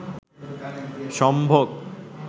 সম্ভোগ